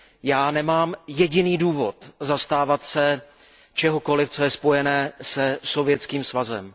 Já nemám jediný důvod zastávat se čehokoliv, co je spojené se Sovětských svazem.